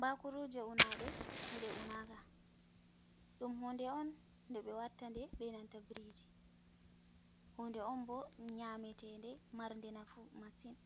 Bakuruje unaɗe eɗe unaka, ɗum hunde on nde ɓe watta de benanta briji hunde on bo nyametede marde nafu massin,